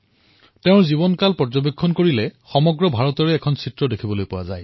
তেওঁৰ জীৱনকালটোত সমগ্ৰ ভাৰতৰ প্ৰতিচ্ছবি পৰিলক্ষিত হয়